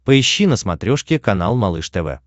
поищи на смотрешке канал малыш тв